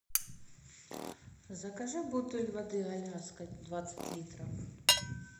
закажи бутыль воды аляска двадцать литров